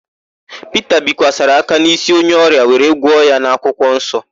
Pita bikwasara aka n'ísí onye ọrịa wee gwọ ya n'akwụkwọnsọ.